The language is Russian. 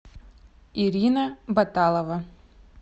ирина баталова